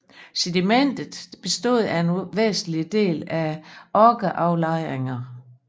Sedimentet bestod for en væsentlig del af okkeraflejringer